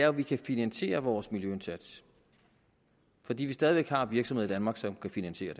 at vi kan finansiere vores miljøindsats fordi vi stadig væk har virksomheder i danmark som kan finansiere